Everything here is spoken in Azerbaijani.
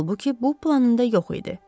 Halbuki, bu planında yox idi.